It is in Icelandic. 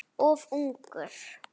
Of ungur.